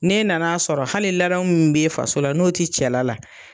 N'e nan'a sɔrɔ hali ladamu min bɛ i faso la n'o tɛ cɛla la!